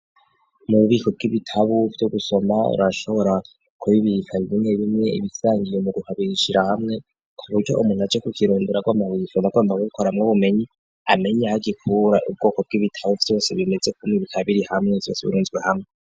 Mu bubiko bw'ibitabu vyo gusoma urashobora kubibika bimwe bimwe ibisangiye umugwi ukabishira hamwe, kuburyo umuntu aje kukirondorera agomba kubisoma kubironderamwo ubumenyi amenye aho agikura ubwoko bw'ibitabu vyose bimeze kumwe bikaba biri hamwe vyose birunzwe hamwe.